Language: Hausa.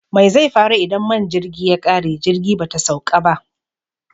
Mai zai faru idan man jirgi ya ƙare jirgi bata sauƙa ba?